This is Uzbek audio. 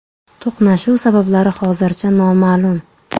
To‘qnashuv sabablari hozircha noma’lum.